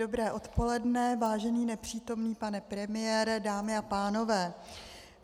Dobré odpoledne, vážený nepřítomný pane premiére, dámy a pánové.